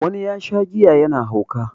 wani ya Sha giya yana hauka